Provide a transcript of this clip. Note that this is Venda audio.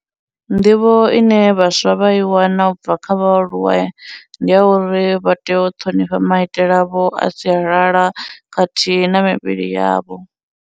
Nḓivho ine vhaswa vha i wana u bva kha vhaaluwa ndi a uri vha tea u ṱhonifha maitele avho a sialala khathihi na mivhili yavho.